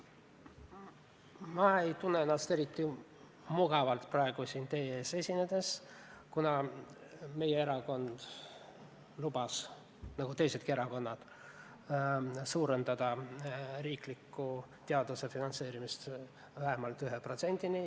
Ma ei tunne ennast siin teie ees esinedes eriti mugavalt, kuna meie erakond lubas nagu teisedki erakonnad suurendada riiklikku teaduse finantseerimist vähemalt 1%-ni.